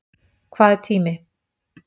Hvað er tími?